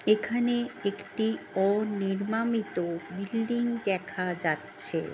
এখানে একটি অনিরমামিত বিল্ডিং দেখা যাচ্ছে-এ -